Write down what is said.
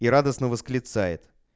и радостно восклицает